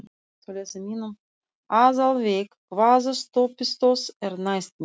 Aðalveig, hvaða stoppistöð er næst mér?